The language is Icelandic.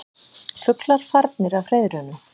Fuglar farnir af hreiðrunum